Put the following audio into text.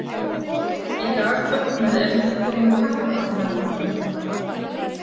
Í dag fögnum við endurkomu kattaranganna minna